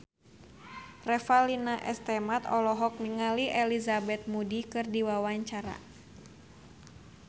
Revalina S. Temat olohok ningali Elizabeth Moody keur diwawancara